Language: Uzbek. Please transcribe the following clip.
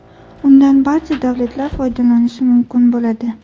Undan barcha davlatlar foydalanishi mumkin bo‘ladi.